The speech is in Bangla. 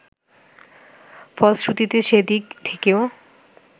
ফলশ্রুতিতে সেদিক থেকেও